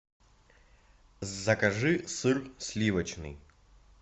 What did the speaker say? закажи сыр сливочный